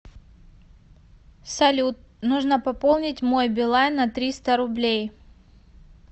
салют нужно пополнить мой билайн на триста рублей